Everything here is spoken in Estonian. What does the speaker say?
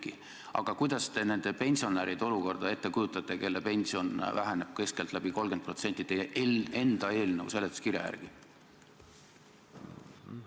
Kuidas te siis kujutate ette nende pensionäride olukorda, kelle pension väheneb keskeltläbi 30% teie eelnõu seletuskirja järgi?